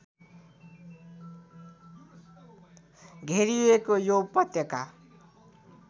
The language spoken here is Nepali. घेरिएको यो उपत्यका